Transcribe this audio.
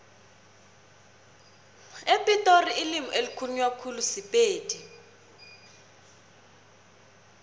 epitori ilimi elikhulunywa khulu sipedi